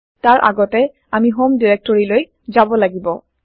তাৰ আগতে আমি হম ডাইৰেক্টৰীলৈ যাব লাগিব